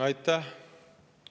Aitäh!